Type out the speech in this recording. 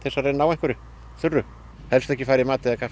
að ná einhverju þurru helst ekki fara í mat eða kaffi